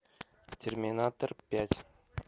терминатор пять